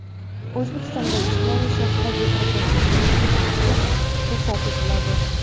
O‘zbekistonda jismoniy shaxslarga kirakashlik bilan shug‘ullanishga ruxsat etiladi.